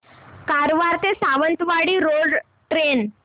कारवार ते Sawantwadi road train